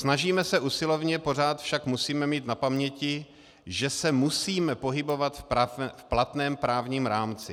Snažíme se usilovně, pořád však musíme mít na paměti, že se musíme pohybovat v platném právním rámci.